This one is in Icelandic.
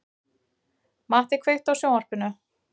Matti, kveiktu á sjónvarpinu.